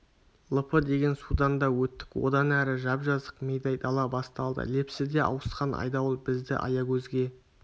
лп деген судан да өттік одан әрі жап-жазық мидай дала басталды лепсіде ауысқан айдауыл бізді аягөзге